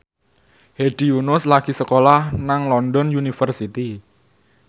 Hedi Yunus lagi sekolah nang London University